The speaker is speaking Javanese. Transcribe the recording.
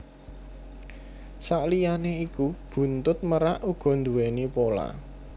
Saliyané iku buntut merak uga nduwèni pola